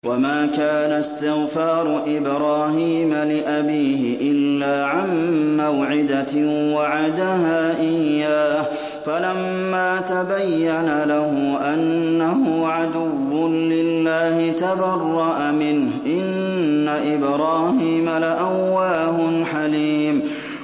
وَمَا كَانَ اسْتِغْفَارُ إِبْرَاهِيمَ لِأَبِيهِ إِلَّا عَن مَّوْعِدَةٍ وَعَدَهَا إِيَّاهُ فَلَمَّا تَبَيَّنَ لَهُ أَنَّهُ عَدُوٌّ لِّلَّهِ تَبَرَّأَ مِنْهُ ۚ إِنَّ إِبْرَاهِيمَ لَأَوَّاهٌ حَلِيمٌ